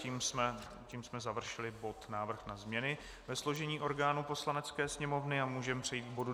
Tím jsme završili bod Návrh na změny ve složení orgánů Poslanecké sněmovny a můžeme přejít k bodu